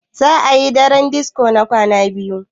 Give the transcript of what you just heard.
za a yi dare disko na kwana biyu